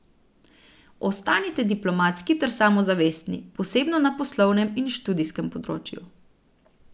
Ostanite diplomatski ter samozavestni, posebno na poslovnem in študijskem področju.